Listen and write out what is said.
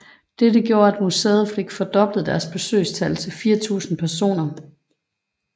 Dette gjorde at museet fik fordoblet deres besøgstal til 4000 personer